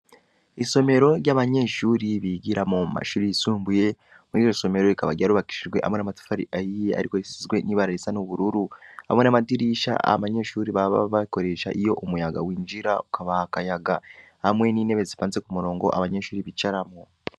Isomero ry’abanyeshuri bigiramwo mu mashuri yisumbuye, muri iryo somero rikaba ryarubakishijwe hamwe n’amatafari ahiye, ariko risizwe n’ibara risa n’ubururu; hamwe n’amadirisha abanyeshuri baba bakoresha iyo umuyaga winjira ukabaha akayaga; hamwe n’intebe zipanze ku murongo abanyeshuri bicaramwo.